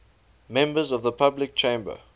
members of the public chamber